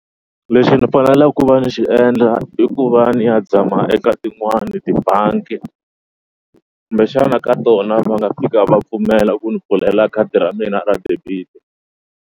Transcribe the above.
Leswi ni faneleke ku va ni xi endla i ku va ni ya zama eka tin'wani tibangi kumbexana ka tona va nga fika va pfumela ku ni pfulela khadi ra mina ra debit.